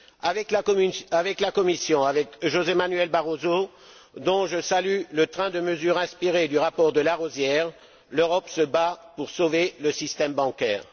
Avec la Commission, avec José Manuel Barroso, dont je salue le train de mesures inspirées du rapport de Larosière, l'Europe se bat pour sauver le système bancaire.